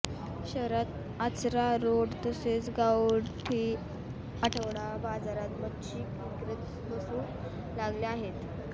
शहरात आचरा रोड तसेच गावठी आठवडा बाजारात मच्छी विक्रेते बसू लागले आहेत